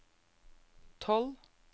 tolv